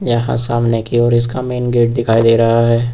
यहां सामने की ओर इसका मेन गेट दिखाई दे रहा है।